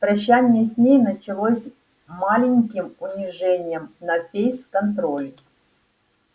прощание с ней начиналось маленьким унижением на фейс-контроле